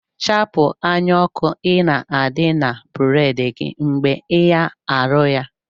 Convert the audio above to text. Chapu anya oku ina adi na bread gi mgbe ia aluya